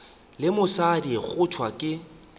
le mosadi go thwe ke